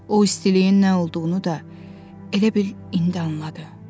O istiliyin nə olduğunu da elə bil indi anladı.